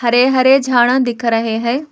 हरे हरे झाड़ा दिख रहे हैं।